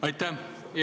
Aitäh!